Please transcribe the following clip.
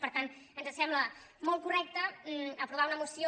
per tant ens sembla molt correcte aprovar una moció